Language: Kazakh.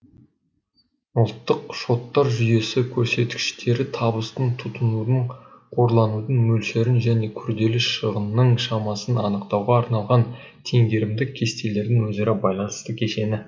ұлттық шоттар жүйесі көрсеткіштері табыстың тұтынудың қорланудың мөлшерін және күрделі шығынның шамасын анықтауға арналған теңгерімдік кестелердің өзара байланысты кешені